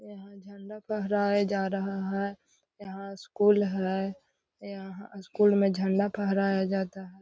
यहाँ झंडा फहराया जा रहा है यहाँ स्कूल है यहाँ स्कूल में झंडा फहराया जाता है।